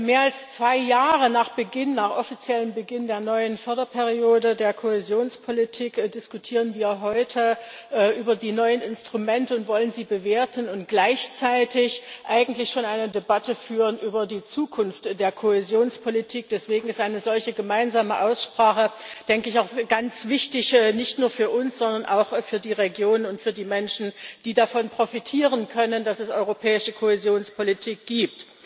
Mehr als zwei Jahre nach dem offiziellen Beginn der neuen Förderperiode der Kohäsionspolitik diskutieren wir heute über die neuen Instrumente und wollen sie bewerten und gleichzeitig eigentlich schon eine Debatte über die Zukunft der Kohäsionspolitik führen. Deswegen ist eine solche gemeinsame Aussprache, denke ich, auch ganz wichtig nicht nur für uns, sondern auch für die Region und für die Menschen, die davon profitieren können, dass es europäische Kohäsionspolitik gibt.